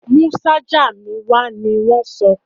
Mú ṣájà mi wá! ní wọ́n sọ.